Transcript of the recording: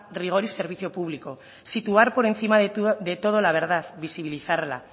rigor y servicio público situar por encima de todo la verdad visibilizarla